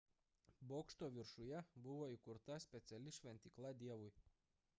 bokšto viršuje buvo įkurta speciali šventykla dievui